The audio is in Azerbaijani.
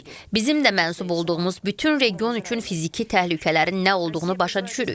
Bizim də mənsub olduğumuz bütün region üçün fiziki təhlükələrin nə olduğunu başa düşürük.